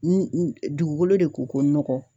dugukolo de ko ko nɔgɔ.